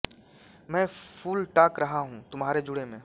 मैं फूल टाँक रहा हूँ तुम्हारे जूड़े में